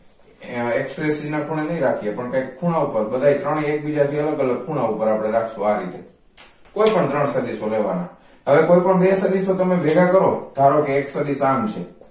આયા express ના ખૂણે નય રાખીયે પણ કંઈક ખૂણા ઉપર બધાય ત્રણેય એકબીજા થી અલગઅલગ ખૂણા ઉપ્પર રાખશુ અપડે આ રીતે કોઈ પણ ત્રણ સદિશો લેવા ના હવે કોઈપણ બે સદિશો તમે ભેગા કરો ધારો કે એક સદિશ આમ છે